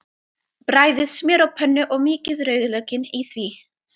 Bræðið smjör á pönnu og mýkið rauðlaukinn í því.